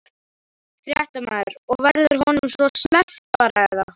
Fréttamaður: Og verður honum svo sleppt bara eða?